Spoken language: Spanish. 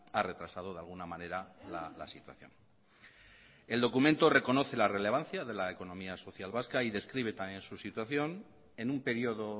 ha retrasado de alguna manera la situación el documento reconoce la relevancia de la economía social vasca y describe también su situación en un periodo